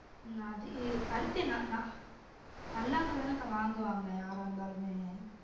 உம் அது பருத்தி நா நா நல்லா இருந்தா தானக்கா வாங்குவாங்க யாரா இருந்தாலுமே